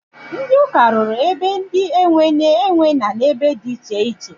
Ndị ụka rụrụ be ndị e nwe nne e nwe nna n'ebe dị iche iche.